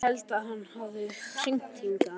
Ég held að hann hafi hringt hingað.